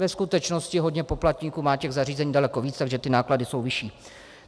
Ve skutečnosti hodně poplatníků má těch zařízení daleko víc, takže ty náklady jsou vyšší.